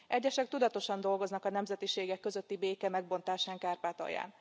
Egyesek tudatosan dolgoznak a nemzetiségek közötti béke megbontásán Kárpátalján.